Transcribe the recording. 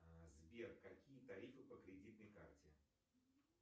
сбер какие тарифы по кредитной карте